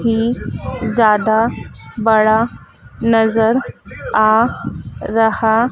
की ज्यादा बड़ा नजर आ रहा--